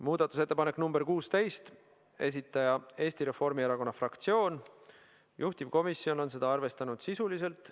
Muudatusettepanek nr 16, esitajaks on Eesti Reformierakonna fraktsioon, juhtivkomisjon on arvestanud seda sisuliselt .